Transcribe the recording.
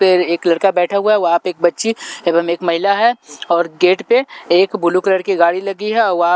पे एक लड़का बैठा हुआ है वहां पे एक बच्ची एवं एक महिला है और गेट पे एक ब्लू कलर की गाड़ी लगी है और--